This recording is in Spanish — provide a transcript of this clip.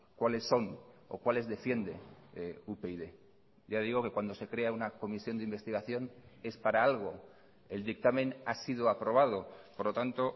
cuáles son o cuáles defiende upyd ya digo que cuando se crea una comisión de investigación es para algo el dictamen ha sido aprobado por lo tanto